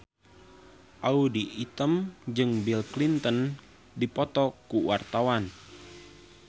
Audy Item jeung Bill Clinton keur dipoto ku wartawan